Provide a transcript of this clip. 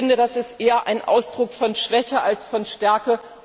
Ich finde, das ist eher ein Ausdruck von Schwäche als von Stärke!